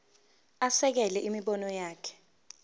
asekele imibono yakhe